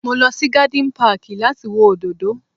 Mo lọ sí garden park láti wo òdòdó